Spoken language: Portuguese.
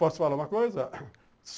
Posso falar uma coisa?